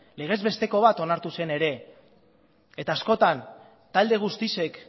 legezbesteko bat onartu zen ere eta askotan talde guztiek